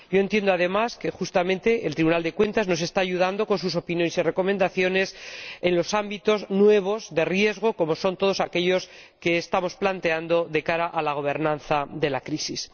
Entiendo, además, que justamente el Tribunal de Cuentas nos está ayudando con sus opiniones y sus recomendaciones en los ámbitos nuevos de riesgo, como son todos aquellos que estamos planteando de cara a la gobernanza de la crisis.